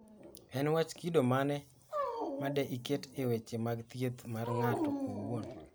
En wach kido mane ma de iket e weche mag thieth mar ng'ato owuon?